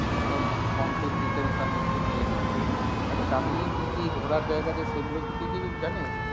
সব complete details আমি একটু নিয়ে নিচ্ছি। আচ্ছা দার্জিলিং কী কী ঘোরার জায়গা আছে সেগুলি কী তুই কিছু জানিস?